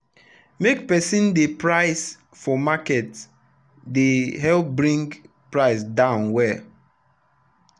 make person dey price for market dey help bring price down well.